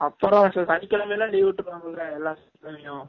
அப்புரம் சனிகிலமை எல்லாம் leave விற்றுவாங்கல எல்லா சனி கிலமையும்